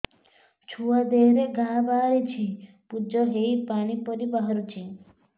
ଛୁଆ ଦେହରେ ଘା ବାହାରିଛି ପୁଜ ହେଇ ପାଣି ପରି ବାହାରୁଚି